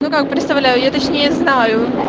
ну как представляю я точнее знаю